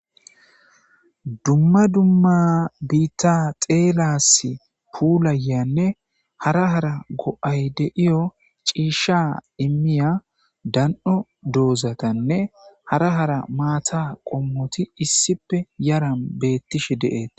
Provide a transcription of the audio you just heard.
Dumma dumma biitta xeelas puulayanne hara hara go7ay deiyo ciisha immiya dan7o doozatanne hara hara maata qommoti issipe yaran beettishe de,eeta